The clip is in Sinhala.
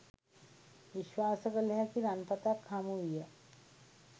විශ්වාස කළ හැකි රන්පතක් හමු විය